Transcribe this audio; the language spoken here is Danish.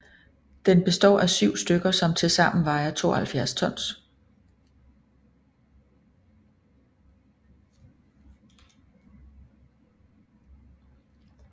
Den består af 7 stykker som til sammen vejer 72 tons